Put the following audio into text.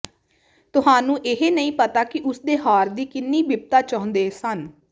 ਤੁਹਾਨੂੰ ਇਹ ਨਹੀਂ ਪਤਾ ਕਿ ਉਸ ਦੇ ਹਾਰ ਦੀ ਕਿੰਨੀ ਬਿਪਤਾ ਚਾਹੁੰਦੇ ਸਨ